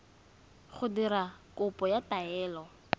go dira kopo ya taelo